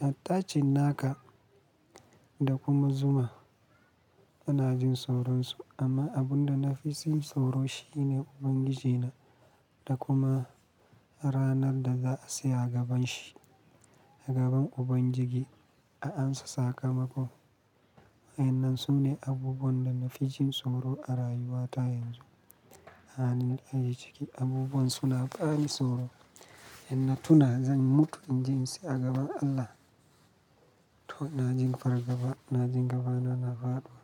har ta cin naka da kuma zuma ina jin tsoron su. Amma abun da na fi jin tsoro shi ne Ubangijina da kuma ranar da za a saya a gaban shi, a gaban Ubangiji a ansa sakamako. Wa'a, wannan sune abubuwan da na fi jin tsoro a rayuwata yanzu. A halin da ake ciki abubuwan suna bani tsoro. In na tuna zan mutu in je tsaya a gaban Allah, to ina ji fargaba, na ji gabana na faɗo.